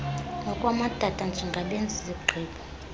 nokwamadoda njengabenzi zigqibp